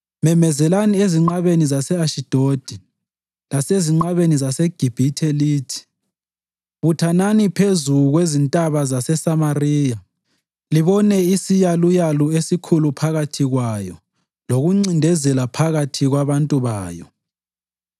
Memezelani ezinqabeni zase-Ashidodi lasezinqabeni zaseGibhithe lithi: “Buthanani phezu kwezintaba zaseSamariya; libone isiyaluyalu esikhulu phakathi kwayo lokuncindezela phakathi kwabantu bayo.”